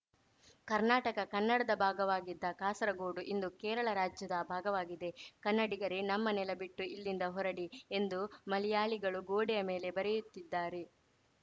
ಕರ್ನಾಟಕ ಕನ್ನಡದ ಭಾಗವಾಗಿದ್ದ ಕಾಸರಗೋಡು ಇಂದು ಕೇರಳ ರಾಜ್ಯದ ಭಾಗವಾಗಿದೆ ಕನ್ನಡಿಗರೇ ನಮ್ಮ ನೆಲ ಬಿಟ್ಟು ಇಲ್ಲಿಂದ ಹೊರಡಿ ಎಂದು ಮಲೆಯಾಳಿಗಳು ಗೋಡೆಯ ಮೇಲೆ ಬರೆಯುತ್ತಿದ್ದಾರೆ